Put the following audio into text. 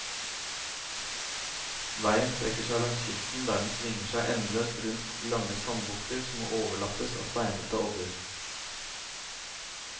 Veien strekker seg langs kysten, der den svinger seg endeløst rundt lange sandbukter som overlappes av steinete odder.